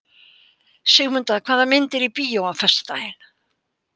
Sigmunda, hvaða myndir eru í bíó á föstudaginn?